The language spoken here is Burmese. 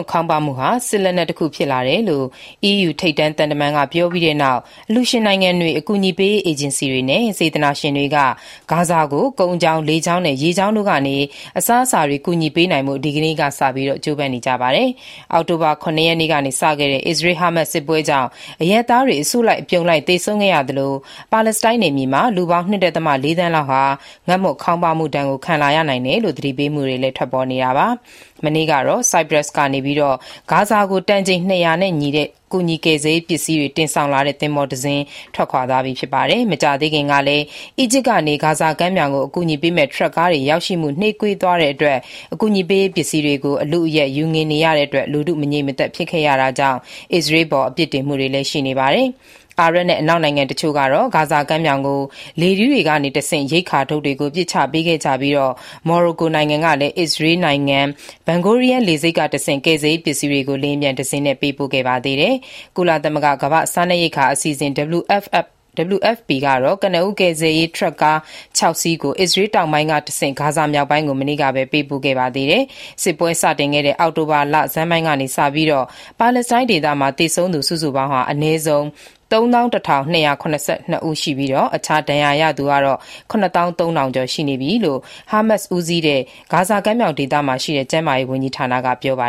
ခေါင်းပါးမှုဟာ စစ်လက်နက်တခုဖြစ်လာတယ်လို့ အီးယူ ထိပ်တန်းသံတမန်ကပြောပြီးတဲ့နောက် အလှူရှင်နိုင်ငံတွေ၊ အကူအညီပေးရေးအေဂျင်စီတွေနဲ့ စေတနာရှင်တွေက ဂါဇာကို ကုန်းကြောင်း၊ လေကြောင်းနဲ့ ရေကြောင်းတို့ကနေ အစားအစာတွေ ကူညီပေးနိုင်ဖို့ ဒီနေ့ကစပြီး ကြိုးပမ်းနေကြပါတယ်။ အောက်တိုဘာ ၇ ရက်နေ့ကနေ စခဲ့တဲ့ အစ္စရေး-ဟာမတ်စ် စစ်ပွဲကြောင့် အရပ်သားတွေ အစုလိုက်အပြုံလိုက် သေဆုံးခဲ့ရသလို၊ ပါလက်စတိုင်း နယ်မြေမှာ လူပေါင်း ၂ ဒသမ ၄ သန်းလောက်ဟာ ငတ်မွတ်ခေါင်းပါးမှု ဒဏ်ကို ခံလာရနိုင်တယ်လို့ သတိပေးမှုတွေ ပေါ်ထွက်နေတာပါ။ မနေ့ကတော့ Cyprus နိုင်ငံကနေ ဂါဇာကို တန်ချိန် ၂၀၀ ရှိတဲ့ ကူညီကယ်ဆယ်ရေး ပစ္စည်းတွေ တင်ဆောင်လာတဲ့ သင်္ဘောတစီး ထွက်ခွာသွားပြီ ဖြစ်ပါတယ်။ မကြာသေးခင်ကလည်း အီဂျစ်ကနေ ဂါဇာကမ်းမြောင်ကို အကူအညီပေးမယ့် ထရပ်ကားတွေရောက်ရှိမှု နှေးကွေးသွားတဲ့အတွက် အကူအညီပေးရေးပစ္စည်းတွေကို အလုအယက် ယူငင်နေရတဲ့အတွက် လူထုမငြိမ်မသက်ဖြစ်ခဲ့ရတာကြောင့် အစ္စရေးအပေါ် အပြစ်တင်မှုတွေလည်းရှိနေပါတယ်။ အာရပ်နဲ့ အနောက်နိုင်ငံတချို့ကတော့ ဂါဇာကမ်းမြောင်ကို လေထီးတွေကတဆင့် ရိက္ခာထုပ်တွေကို ပစ်ချခဲ့ကြပြီး၊ မော်ရိုကိုနိုင်ငံကလည်း အစ္စရေးနိုင်ငံ Ben Gurion လေဆိပ်ကတဆင့် ကယ်ဆယ်ရေးပစ္စည်းတွေကို လေယာဉ်ပျံတစင်းနဲ့ ပို့ပေးခဲ့ပါသေးတယ်။ ကုလသမဂ္ဂ ကမ္ဘာ့စားနပ်ရိက္ခာ အစီအစဉ် WFP ကတော့ ကနဦး ကယ်ဆယ်ရေး ထရပ်ကား ခြောက်စီးကို အစ္စရေးတောင်ပိုင်းကတဆင့် ဂါဇာ မြောက်ပိုင်းကို မနေ့ကပဲ ပေးပို့ခဲ့ပါသေးတယ်။ စစ်ပွဲစတင်ခဲ့တဲ့ အောက်တိုဘာလဆန်းပိုင်းကစပြီး ပါလက်စတိုင်းမှာ သေဆုံးသူ စုစုပေါင်းဟာ အနည်းဆုံး ၃၁,၂၇၂ ဦး ရှိပြီး အခြားဒဏ်ရာရသူ ၇၃,၀၀၀ ရှိကြောင့် ဟာမတ်စ်ဦးစီးတဲ့ ဂါဇာကမ်းမြောင်ဒေသရှိ ကျန်းမာရေး ဝန်ကြီးဌာနကပြောပါ